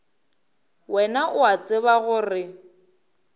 wena o a tseba gore